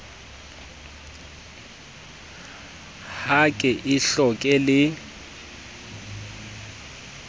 ha ke e hloke le